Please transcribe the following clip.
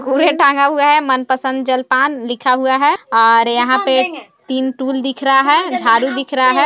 कूरे टांगा हुआ है और मनपसंद जल पान लिखा हुआ है और यहाँ पे तीन टूल दिख रहा है झाडू दिख रहा है।